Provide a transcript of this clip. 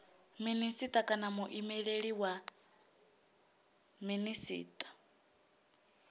minisita kana muimeleli wa minisita